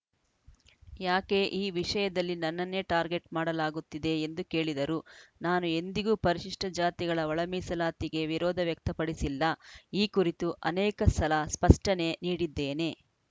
ಯಾಕೆ ಈ ವಿಷಯದಲ್ಲಿ ನನ್ನನ್ನೇ ಟಾರ್ಗೆಟ್‌ ಮಾಡಲಾಗುತ್ತಿದೆ ಎಂದು ಕೇಳಿದರು ನಾನು ಎಂದಿಗೂ ಪರಿಶಿಷ್ಟಜಾತಿಗಳ ಒಳಮೀಸಲಾತಿಗೆ ವಿರೋಧ ವ್ಯಕ್ತಪಡಿಸಿಲ್ಲ ಈ ಕುರಿತು ಅನೇಕ ಸಲ ಸ್ಪಷ್ಟನೆ ನೀಡಿದ್ದೇನೆ